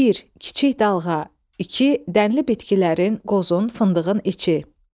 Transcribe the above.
Bir, kiçik dalğa; iki, dənli bitkilərin, qozun, fındığın içi.